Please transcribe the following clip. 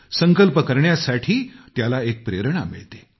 संकल्प करण्यासाठी त्याला एक प्रेरणा मिळते